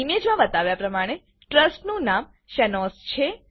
image માં બતાવ્યા પ્રમાણે ટ્રસ્ટનું નામ શેનોઝ છે